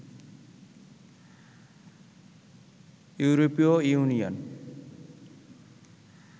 ইউরোপীয় ইউনিয়ন